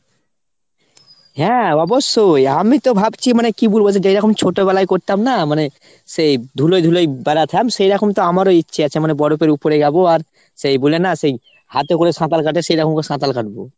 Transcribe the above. হ্যাঁ অবশ্যই। আমিতো ভাবছি মানে কি বলবো সেই যেরকম ছোটবেলায় করতাম না মানে সেই ধুলোয় ধুলোয় বেড়াতাম সেরকম তো আমারও ইচ্ছে আছে মানে বরফের উপরে যাবো আর সেই বুলে না সেই হাতে করে সাঁতাল কাটে সেরকম করে সাঁতাল কাটবো।